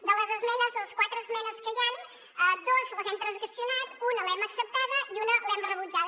de les esmenes les quatre esmenes que hi han dos les hem transaccionat una l’hem acceptada i una l’hem rebutjada